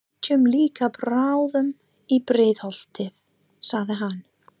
Við flytjum líka bráðum í Breiðholtið, sagði hann.